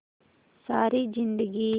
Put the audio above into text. सारी जिंदगी